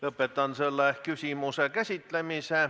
Lõpetan selle küsimuse käsitlemise.